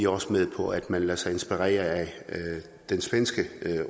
også med på at man lader sig inspirere af den svenske